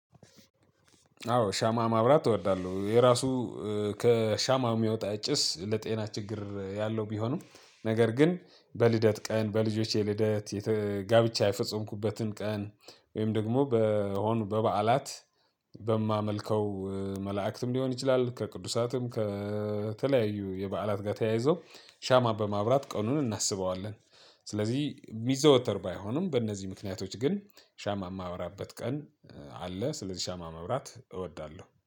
አዎ ሻማ ማብራት እወዳለሁ የራሱ ከሻማ የሚወጣ ጭስ ለጤና ችግር ያለው ቢሆንም ነገር ግን በልደት ቀን በልጆቼ ልደት ጋብቻ የፈጸምኩበትን ቀን ወይም ደግሞ በሆኑ በበዓላት በማመልከው መላእክትም ሊሆን ይችላል ከቅዱሳትም ከተለያዩ የበዓላት ጋር ተያይዞ ሻማ በማብራት ቀኑን እናስበዋለን። ስለዚህ የሚዘወተር ባይሆኑም በእነዚህ ምክንያቶች ግን ሻማ የማበራበት ቀን አለ። ስለዚህ ሻማ መብራት እወዳለሁ